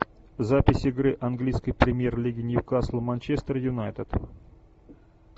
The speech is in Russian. запись игры английской премьер лиги ньюкасл манчестер юнайтед